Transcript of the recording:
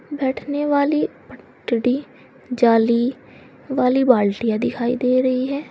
बैठने वाली पट्टरी जाली वाली बाल्टीयां दिखाई दे रही हैं।